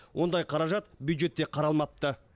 ондай қаражат бюджетте қаралмапты